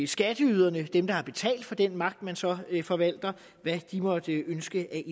skatteyderne dem der har betalt for den magt man så forvalter måtte ønske